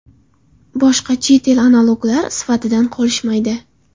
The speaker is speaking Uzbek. Boshqa chet el analoglar sifatidan qolishmaydi.